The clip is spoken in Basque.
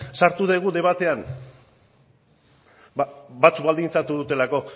sartu dugu debatean batzuk baldintzatu dutelako